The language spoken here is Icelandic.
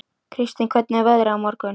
Kristin, hvernig er veðrið á morgun?